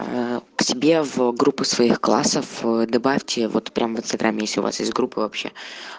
аа к себе в группу своих классов добавьте вот прямо в инстаграме если у вас из группы вообще